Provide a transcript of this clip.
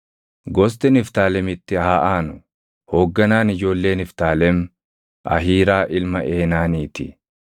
Gosti Niftaalemitti haa aanu. Hoogganaan ijoollee Niftaalem Ahiiraa ilma Eenaanii ti.